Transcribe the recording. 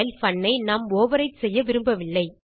பன் ஐ நாம் ஓவர்விரைட் செய்ய விரும்பவில்லை